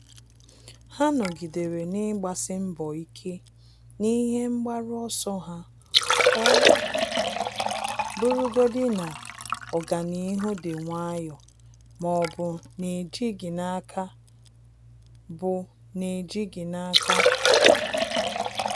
Há nọ́gídèrè n’ị́gbàsí mbọ ike na ihe mgbaru ọsọ ha ọ́ bụ́rụ́godị na ọ́gànihu dị̀ nwayọ́ọ́ ma ọ́ bụ nà-éjíghị́ n’áká. bụ nà-éjíghị́ n’áká.